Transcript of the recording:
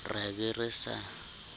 re a be re sa